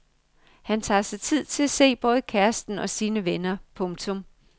Han tager sig tid til at se både kæresten og sine venner. punktum